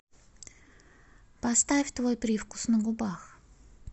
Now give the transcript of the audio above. поставь твой привкус на губах